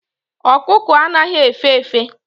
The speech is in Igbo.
Okuko anaghi efe efe